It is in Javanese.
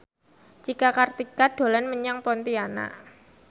Cika Kartika dolan menyang Pontianak